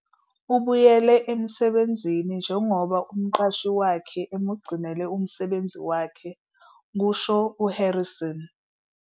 "Ubuyele emsebenzini njengoba umqashi wakhe emugcinele umsebenzi wakhe," kusho u-Harrison.